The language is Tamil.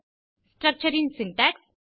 ஸ்ட்ரக்சர் ன் சின்டாக்ஸ்